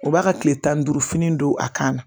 U b'a ka kile tan ni duuru fini don a kan na